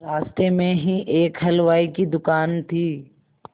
रास्ते में ही एक हलवाई की दुकान थी